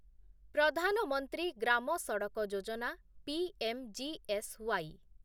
ପ୍ରଧାନ ମନ୍ତ୍ରୀ ଗ୍ରାମ ସଡକ୍ ଯୋଜନା ପିଏମ୍‌ଜିଏସ୍‌ୱାଇ